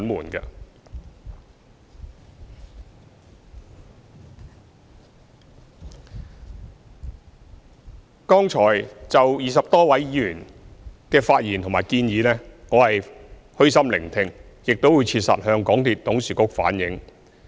對於剛才20多位議員的發言和提出的建議，我是虛心聆聽的，亦會切實向港鐵公司董事局反映。